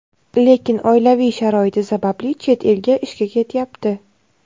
lekin oilaviy sharoiti sababli chet elga ishga ketyapti.